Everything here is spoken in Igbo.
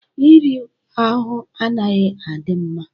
Iri ahụ anaghi adị mma.